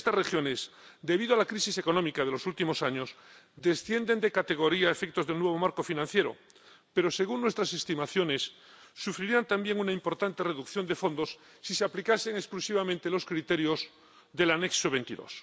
Estas regiones, debido a la crisis económica de los últimos años, descienden de categoría a efectos del nuevo marco financiero, pero, según nuestras estimaciones, sufrirían también una importante reducción de fondos si se aplicasen exclusivamente los criterios del anexo XXII.